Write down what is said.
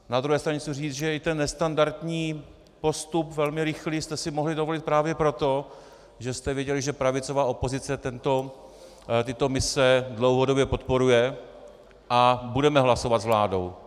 Na druhé straně chci říct, že i ten nestandardní postup velmi rychlý jste si mohli dovolit právě proto, že jste věděli, že pravicová opozice tyto mise dlouhodobě podporuje a budeme hlasovat s vládou.